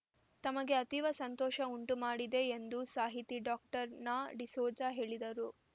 ತಮಗೆ ಅತೀವ ಸಂತೋಷ ಉಂಟು ಮಾಡಿದೆ ಎಂದು ಸಾಹಿತಿ ಡಾಕ್ಟರ್ ನಾಡಿಸೋಜ ಹೇಳಿದರು